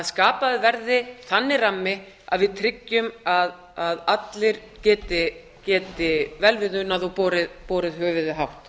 skapaður verði þannig rammi að við tryggjum að allir geti vel við unað og borið höfuðið hátt